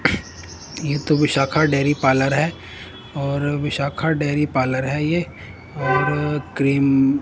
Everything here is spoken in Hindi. ये तो विशाखा डेरी पार्लर है और विशाखा डेरी पार्लर है ये और क्रीम --